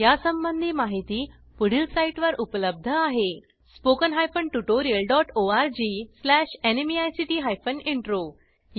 यासंबंधी माहिती पुढील साईटवर उपलब्ध आहेhttpspoken tutorialorgNMEICT Intro या ट्युटोरियलमध्ये आपण समाप्तीपर्यंत आलो आहोत